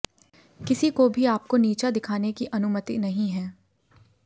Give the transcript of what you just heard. किसी को भी आपको नीचा दिखाने की अनुमति नहीं है